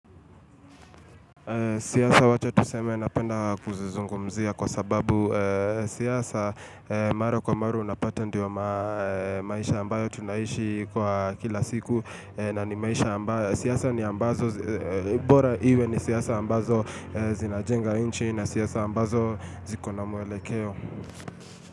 Siyasa wacha tuseme napenda kuzizungumzia kwa sababu siyasa mara kwa mara unapata ndiwa maisha ambayo tunaishi kwa kila siku na ni maisha ambayo. Siyasa ni ambazo, bora iwe ni siyasa ambazo zinajenga inchi na siyasa ambazo zikona mwele keo.